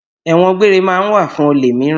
Ẹ̀wọn gbére ma ń wà fún olè míràn.